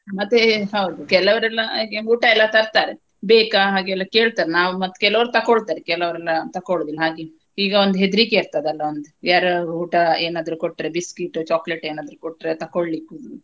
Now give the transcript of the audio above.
ಮತ್ತೆ ಹೌದು ಕೆಲವರೆಲ್ಲಾ ಹಾಗೆ ಊಟಾ ಎಲ್ಲಾ ತರ್ತಾರೆ ಬೇಕಾ ಹಾಗೆಲ್ಲಾ ಕೇಳ್ತಾರೆ ನಾವ್ ಮತ್ತ್ ಕೆಲವರ್ ತಗೋಳ್ತಾರೆ ಕೆಲವರೆಲ್ಲಾ ತಕೋಳೊದಿಲ್ಲಾ ಹಾಗೆ. ಈಗ ಒಂದ ಹೆದ್ರಿಕೆ ಇರ್ತದ ಅಲ್ಲಾ ಒಂದು ಯಾರೊ ಊಟಾ ಏನಾದ್ರು ಕೊಟ್ರೆ biscuit chocolate ಏನಾದ್ರು ಕೊಟ್ರೆ ತಗೋಳ್ಳಿಕ್ಕೆ.